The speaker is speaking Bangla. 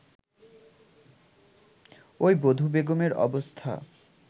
ঐ বধূবেগমের অবস্থা